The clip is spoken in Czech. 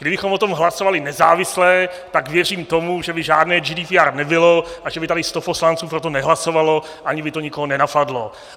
Kdybychom o tom hlasovali nezávisle, tak věřím tomu, že by žádné GDPR nebylo a že by tady sto poslanců pro to nehlasovalo, ani by to nikoho nenapadlo.